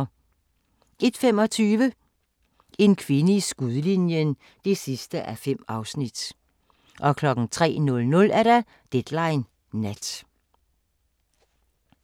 01:25: En kvinde i skudlinjen (5:5) 03:00: Deadline Nat